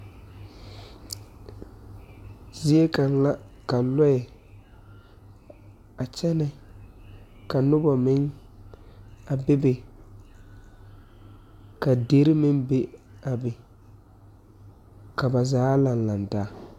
Zie kaŋa la ka lɔɛ a kyɛne ka noba meŋ a bebe ka deri me be a be ka ba zaa laŋe laŋe taa.